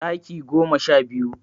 Ɗaki goma sha biyu